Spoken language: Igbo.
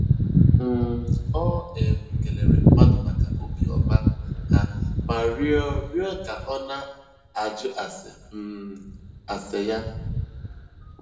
um Ọ um kelere mmadụ maka obiọma ha ma rịọ rịọ ka ọ na - ajụ ase um ya.